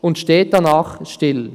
Und steht danach still.